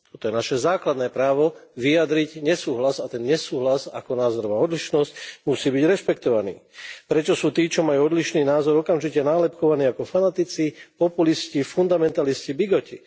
Toto je naše základné právo vyjadriť nesúhlas a ten nesúhlas ako názorová odlišnosť musí byť rešpektovaný. Prečo sú tí, čo majú odlišný názor, okamžite nálepkovaní ako fanatici, populisti, fundamentalisti, bigoti?